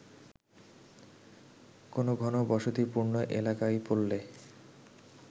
কোন ঘনবসতিপূর্ণ এলাকায় পড়লে